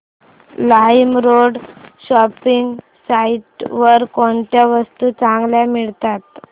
LimeRoad shopping site वर कोणत्या वस्तू चांगल्या मिळतात